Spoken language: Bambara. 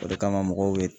O de kama mɔgɔw bɛ